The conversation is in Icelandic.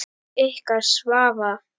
Ykkar Svava.